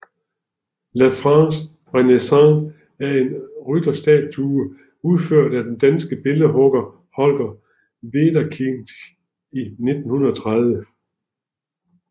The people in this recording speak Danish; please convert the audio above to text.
La France renaissante er en rytterstatue udført af den danske billedhugger Holger Wederkinch i 1930